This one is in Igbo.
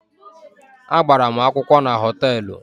A gbara mụ akwụkwọ na họtelụ.